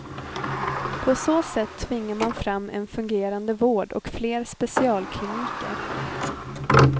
På så sätt tvingar man fram en fungerande vård och fler specialkliniker.